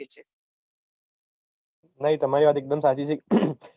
નહિ તમારી વાત એકદમ સાચી છે